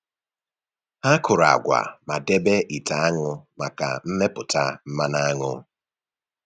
Ha kụrụ agwa ma debe ite aṅụ maka mmepụta mmanụ aṅụ.